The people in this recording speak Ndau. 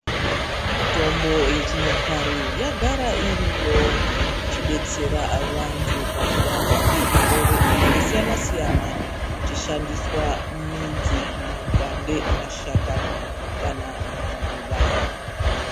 Mitombo yechinyakare yagara iriyo ichidetsera vantu pakurapwa kwezvirwere zvakasiyana siyana kuchishandiswa midzi, makwande, mashakani kana maruva.